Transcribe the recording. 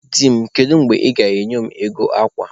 Di m, kedu mgbe ị ga-enye m ego akwa?